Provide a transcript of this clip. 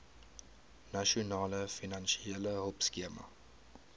nasionale finansiële hulpskema